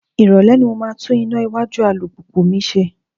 Irole ni mo máa tún iná iwájú alùpùpù mi ṣe.